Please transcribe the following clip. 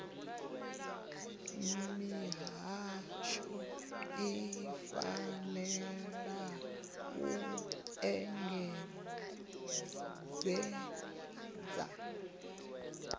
mihasho i fanela u engedzedza